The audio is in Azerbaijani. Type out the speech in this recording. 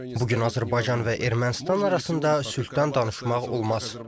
Bu gün Azərbaycan və Ermənistan arasında sülhdən danışmaq olmaz.